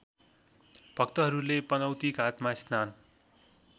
भक्तहरूले पनौतीघाटमा स्नान